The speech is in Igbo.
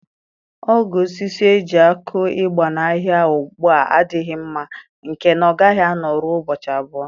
Ogo osisi eji akụ ịgba n'ahịa ugbu a adịghị mma, nke na ọ gaghị anọ rụọ ụbọchị abụọ.